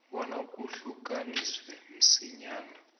bona kuhlukaniswe msinyana